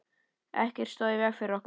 Ekkert stóð í vegi fyrir okkur.